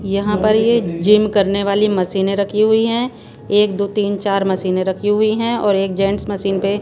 यहां पर ये जिम करने वाली मशीनें रखी हुई हैं एक दो तीन चार मशीनें रखी हुई हैं और एक जेंट्स मशीन पे--